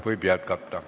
Võib jätkata.